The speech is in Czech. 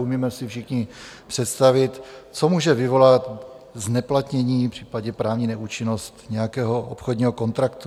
Umíme si všichni představit, co může vyvolat zneplatnění, případně právní neúčinnost nějakého obchodního kontraktu.